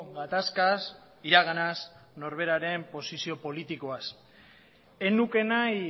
gatazkaz iraganaz norberaren posizio politikoaz ez nuke nahi